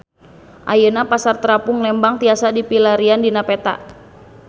Ayeuna Pasar Terapung Lembang tiasa dipilarian dina peta